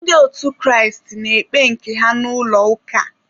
Ndị otu Kraịst na-ekpe nke ha n'ụlọ ụka.